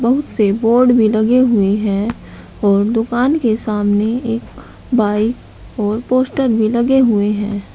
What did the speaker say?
बहुत से बोर्ड भी लगे हुए हैं और दुकान के सामने एक बाइक और पोस्टर भी लगे हुए हैं।